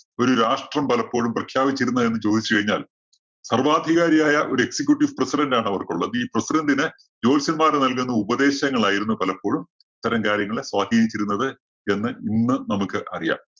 ഒരു രാഷ്ട്രം പലപ്പോഴും പ്രഖ്യാപിച്ചിരുന്നെ എന്ന് ചോദിച്ചു കഴിഞ്ഞാല്‍ സര്‍വ്വാധികാരിയായ ഒരു excecutive president ആണ് അവര്‍ക്കുള്ളത്. ഈ president ന് ജ്യോത്സ്യന്മാര്‍ നല്‍കുന്ന ഉപദേശങ്ങളായിരുന്നു പലപ്പോഴും ഇത്തരം കാര്യങ്ങളെ സ്വാധിനിച്ചിരുന്നത് എന്ന് ഇന്ന് നമുക്ക് അറിയാം.